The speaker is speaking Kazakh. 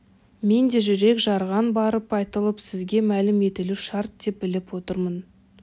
менен де жүрек жарған барым айтылып сізге мәлім етілу шарт деп біліп отырмын